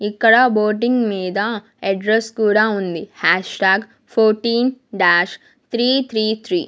ఇక్కడ బోటింగ్ మీద అడ్రస్ కూడా ఉంది hash tag fourteen dash three three three .